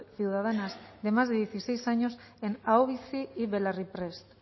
ciudadanas de más de dieciséis años en aho bizi y belarri prest